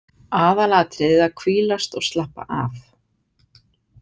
Aðalatriðið að hvílast og slappa af.